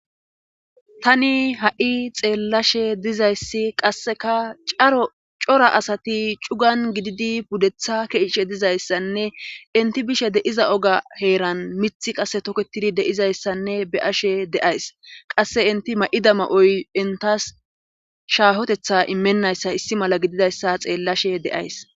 tani ha7i xeellashe dizayssi qasseka cora asati cugan gididi puddetha keeshe dizayssanne inti bishe deiza oga heeran mith qasse toketidi deizayssanne be ashe deays qasse inti ma7idama7oy intas shaahotetha immennayssa issi mala gididayssa xeellashe deays